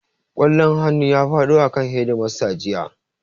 Ƙwallon hannu ya faɗo akan hedimasta jiya